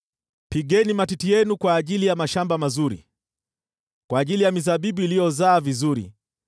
Pigeni matiti yenu kwa ajili ya mashamba mazuri, kwa ajili ya mizabibu iliyozaa vizuri